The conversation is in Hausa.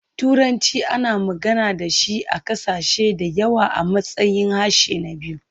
Turanci ana magana da shi a ƙasashe da yawa a matsayin harshe na biyu.